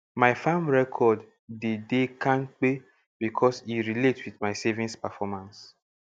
my farm record dey de kampe becos e relate with my savings performance